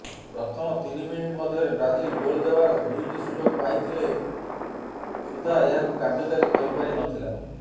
ପ୍ରଥମ ତିନି ମିନିଟ ମଧ୍ୟରେ ବ୍ରାଜିଲ ଗୋଲ ଦେବାର ଦୁଇଟି ସୁଯୋଗ ପାଇଥିଲେ ସୁଦ୍ଧା ଏହାକୁ କାର୍ଯ୍ୟକାରୀ କରିପାରିନଥିଲା